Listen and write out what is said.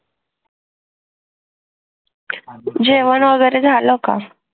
जेवण वगैरे झालं का